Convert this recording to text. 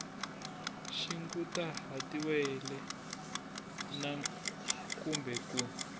xi kunguhatiwile na kumbe ku